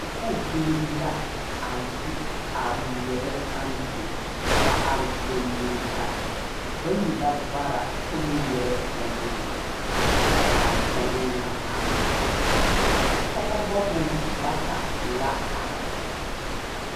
Sakuubiiri la a yi a ŋmeɛrɛ ampe ba are golii la bayi la vara kyɛ ŋmeɛrɛ ba nuuri kyɛ ka a kyɛlɛɛ na a are pɔgeba meŋ bata la are.